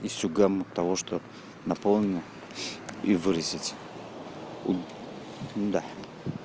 из того что наполнено и выразить да